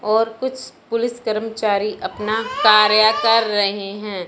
और कुछ पुलिस कर्मचारी अपना कार्य कर रहे हैं।